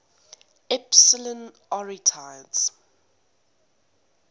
epsilon arietids